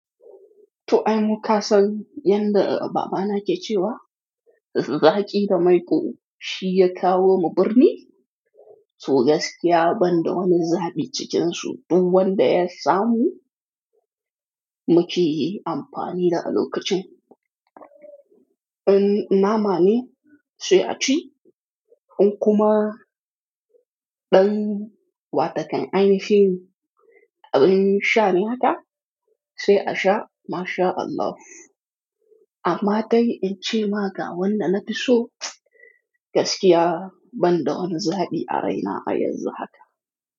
To, ai mu ka san yanda babana ke cewa, zaki da maiƙo shi ya kawo mu birni, to gaskiya banda wani zaɓi cikinsu, du wanda ya samu muke yi amfani da a lokacin. In na ma ne sai a ci, in kuma ɗan wata kan a yi shi, in sha ne haka sai a sha. Masha Allah. Amma dai in ce ma ga wanda na fi so gaskiya banda wani zaɓi a raina a yanzu haka.